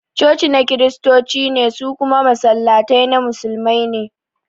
Cocina na Kiristoci ne, su kuma Masallatai na Musulmai ne